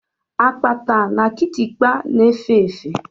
Akpatà na Kịtịkpa na-efe efe.